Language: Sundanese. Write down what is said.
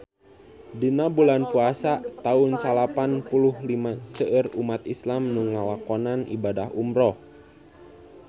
Dina bulan Puasa taun salapan puluh lima seueur umat islam nu ngalakonan ibadah umrah